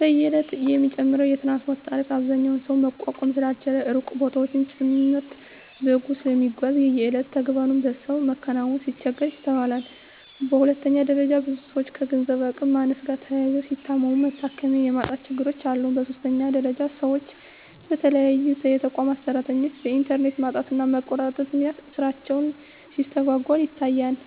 በየእለቱ የሚጨምረው የትራንስፓርት ታሪፍ አብዛኛው ሰው መቋቋም ስላልቻለ ሩቅ ቦታወችን ጭምርት በእግሩ ስለሚጓዝ የየእለት ተግባሩን በሰአት መከወን ሲቸገር ይስተዋላል። በሁለተኛ ደረጃ ብዙ ሰወች ከገንዘብ አቅም ማነስ ጋር ተያይዞ ሲታመሙ መታከሚያ የማጣት ችግሮች አሉ። በሶስተኛ ደረጃ ሰወች በተለይ የተቋማት ሰራተኞች በእንተርኔት ማጣትና መቆራረጥ ምክንያት ስራቸው ሲስተጓጎል ይታያል።